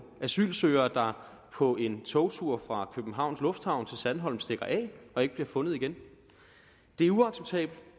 asylsøgere der på en togtur fra københavns lufthavn til sandholm stikker af og ikke bliver fundet igen det er uacceptabelt